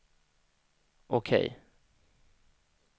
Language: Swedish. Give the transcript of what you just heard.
OK